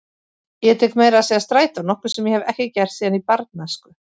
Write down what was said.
Ég tek meira að segja strætó, nokkuð sem ég hef ekki gert síðan í barnæsku.